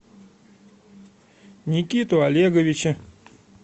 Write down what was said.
никиту олеговича